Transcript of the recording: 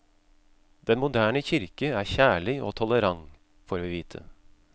Den moderne kirke er kjærlig og tolerant, får vi vite.